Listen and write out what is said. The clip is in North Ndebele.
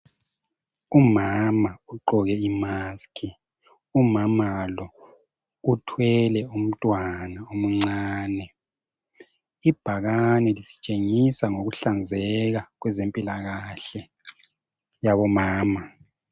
Umama ugqoke imask. Umamal o uthwele umntwana omncane, ibhakane lisitshengisa ngokuhlanzeka kwezempilakahle yabomama.